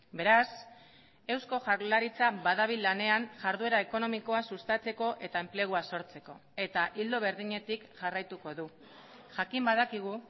beraz eusko jaurlaritza badabil lanean jarduera ekonomikoa sustatzeko eta enplegua sortzeko eta ildo berdinetik jarraituko du jakin badakigu